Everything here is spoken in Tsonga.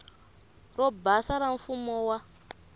ro basa ra mfumo wa